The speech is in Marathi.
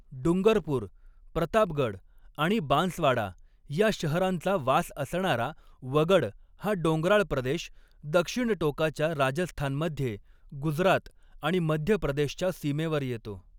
डुंगरपूर, प्रतापगड आणि बांसवाडा ह्या शहरांचा वास असणारा वगड हा डोंगराळ प्रदेश, दक्षिणटोकाच्या राजस्थानमध्ये, गुजरात आणि मध्य प्रदेशच्या सीमेवर येतो.